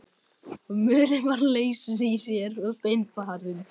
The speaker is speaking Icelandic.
Mölin var laus í sér og seinfarin.